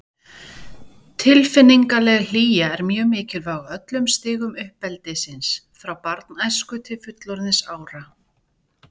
Tilfinningaleg hlýja er mjög mikilvæg á öllum stigum uppeldisins, frá barnæsku til fullorðinsára.